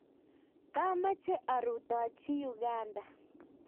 Kamache arutochi Uganda